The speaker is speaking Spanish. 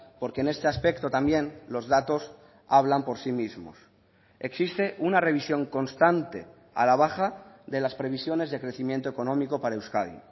porque en este aspecto también los datos hablan por sí mismos existe una revisión constante a la baja de las previsiones de crecimiento económico para euskadi